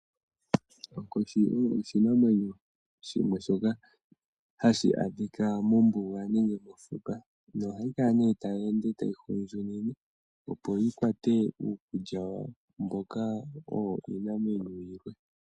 Onkoshi oyo oshinamwenyo shimwe shoka, hashi adhika mombuga nenge mofuka no hayi kala nee tayi ende tayi hundjunine opo yi kwate uukulya wayo mboka owo iinamwenyo yilwe